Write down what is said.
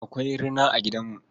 Akwai rina a gidamu.